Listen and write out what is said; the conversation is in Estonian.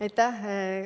Aitäh!